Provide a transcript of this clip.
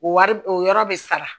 O wari o yɔrɔ bɛ sara